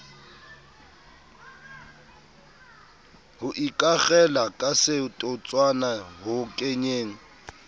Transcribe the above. ho ikakgela kasetotswana ho kenyeng